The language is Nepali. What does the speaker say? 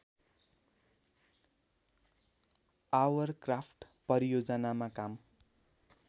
आवरक्राफ्ट परियोजनामा काम